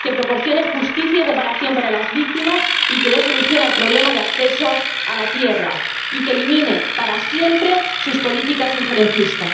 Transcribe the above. Que proporcione justicia y reparación para las víctimas, que dé solución al problema de acceso a la tierra y que elimine para siempre sus políticas de injerencia.